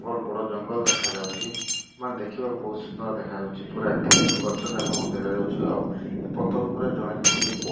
ବଡ ଜଙ୍ଗଲ ଦେଖାଯାଉଚି ମାନେ ଦେଖିବାକୁ ବହୁତ ସୁନ୍ଦର ଦେଖାଯାଉଚି ପୁରା କ୍ଲିନ୍ ଗଛ ଯାକ ମତେ ଦେଖାଯାଉଚି ଆଉ ଏ ପତର ଉପରେ ଜଣେ କୁନି ପୁଅ --